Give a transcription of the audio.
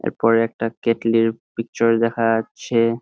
এরপরে একটা কেটলি -এর পিকচার দেখা যাচ্ছে।